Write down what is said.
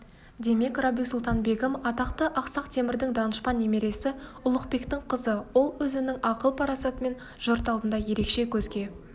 демек рабиу-сұлтан-бегім атақты ақсақ темірдің данышпан немересі ұлықбектің қызы ол өзінің ақыл-парасатымен жұрт алдында ерекше көзге